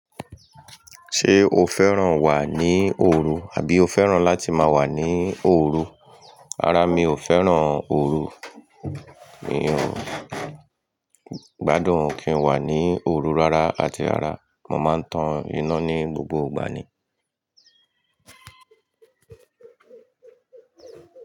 Ṣé o fẹ́ràn wà ní òru, àbí o fẹ́ràn láti máa wà ní òru? Rárá, mi ò fẹ́ràn òru. Mi ò gbádùn kí ń wà ní òru rárá àti rárá. Mo máa ń tan iná ní gbogbo ìgbà ni.